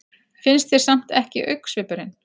Finnst þér samt ekki augnsvipurinn.